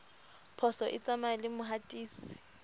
phoso e tsamaya le mohatisi